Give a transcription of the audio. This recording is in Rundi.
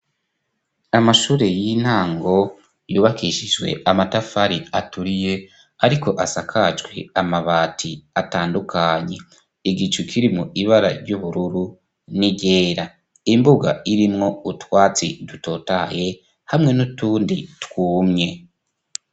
Amashure y'intango yubakishijwe amatafari aturiye, ariko asakajwe amabati atandukanye igicu kiri mu ibara ry'ubururu niryera imbuga irimwo utwatsi dutotaye hamwe n'utundi twumye.